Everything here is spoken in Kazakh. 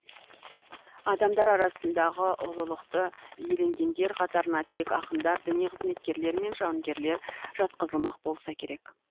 адамдар арасындағы ұлылықты иеленгендер қатарына тек ақындар діни қызметкерлер мен жауынгерлер жатқызылмақ болса керек